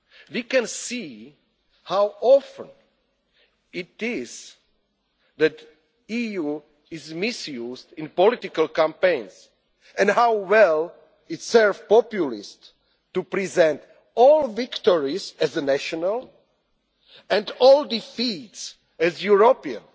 We can see how often the EU is misused in political campaigns, and how well it serves populists to present all victories as national, and all defeats as European.